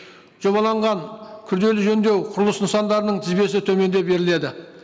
жобаланған күрделі жөндеу құрылыс нысандарының тізбесі төменде беріледі